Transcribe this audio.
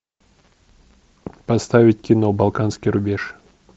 поставить кино балканский рубеж